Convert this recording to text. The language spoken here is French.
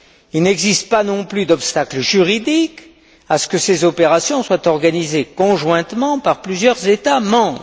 Il n'existe pas non plus d'obstacle juridique à ce que ces opérations soient organisées conjointement par plusieurs États membres.